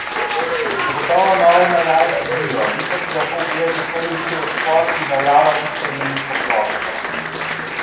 Zagotovo nove najave sledijo, vi pa si lahko ogledate prvi videospot, ki najavlja istoimensko ploščo!